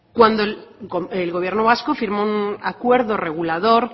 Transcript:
cuando el gobierno vasco firmó un acuerdo regulador